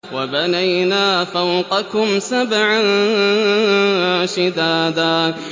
وَبَنَيْنَا فَوْقَكُمْ سَبْعًا شِدَادًا